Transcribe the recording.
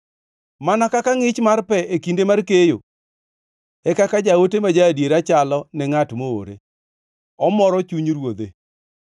Mana kaka ngʼich mar pe e kinde mar keyo, e kaka jaote ma ja-adiera chalo ne ngʼat moore, omoro chuny ruodhe.